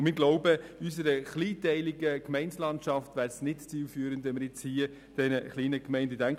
Zudem glauben wir, in unserer kleinteiligen Gemeindelandschaft wäre es nicht zielführend, das auch den kleinen Gemeinden zu geben.